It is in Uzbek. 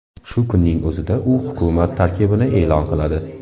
Shu kunning o‘zida u hukumat tarkibini e’lon qiladi.